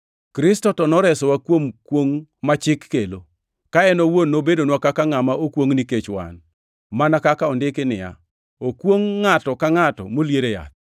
Kristo to noresowa kuom kwongʼ ma Chik kelo, ka en owuon nobedonwa kaka ngʼama okwongʼ nikech wan, mana kaka ondiki niya, “Okwongʼ ngʼato ka ngʼato molier e yath.” + 3:13 \+xt Rap 21:23\+xt*